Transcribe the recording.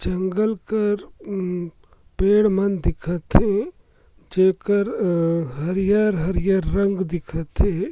जंगल कर उँ पेड़ मन दिखा थे जेकर हरियर-हरियर रंग दिखत हे।